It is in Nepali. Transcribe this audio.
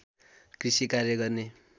कृषि कार्य गर्ने